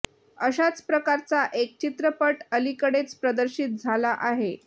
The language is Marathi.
अशाच प्रकारचा एक चित्रपट अलीकडेच प्रदर्शित झाला आहे